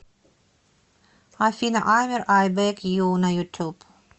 афина аймер ай бэг ю на ютуб